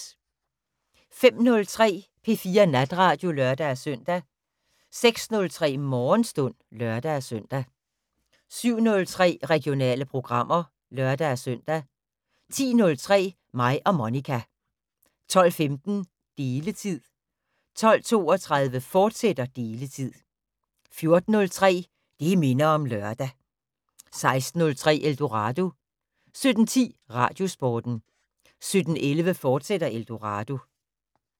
05:03: P4 Natradio (lør-søn) 06:03: Morgenstund (lør-søn) 07:03: Regionale programmer (lør-søn) 10:03: Mig og Monica 12:15: Deletid 12:32: Deletid, fortsat 14:03: Det minder om lørdag 16:03: Eldorado 17:10: Radiosporten 17:11: Eldorado, fortsat